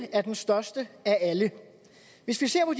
er den største af alle hvis vi ser på